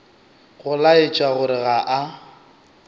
go laetša gore ga a